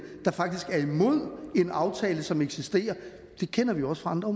der faktisk er imod en aftale som eksisterer kender vi også fra andre